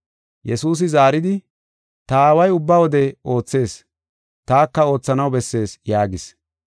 Yesuusi zaaridi, “Ta Aaway ubba wode oothees; taka oothanaw bessees” yaagis.